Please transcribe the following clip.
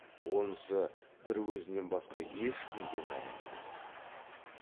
онысы бір өзінен басқа ешкімге мәлім емес